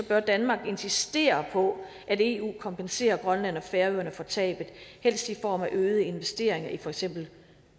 bør danmark insistere på at eu kompenserer grønland og færøerne for tabet helst i form af øgede investeringer i for eksempel